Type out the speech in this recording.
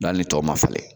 hali tɔw ma filɛ